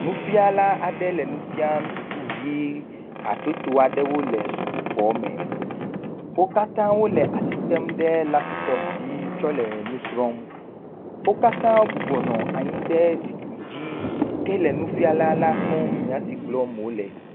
Nufiala aɖe le nu fiam sukuvi hatsotso aɖewo le sukuxɔ. Wo katã wole asi tem ɖe laptɔp dzi tsɔ le nu srɔ̃m. Wo katã wobɔbɔ nɔ anyi ɖe zikpui dzi hele nufiala la kpɔm, nya si gblɔm wòle.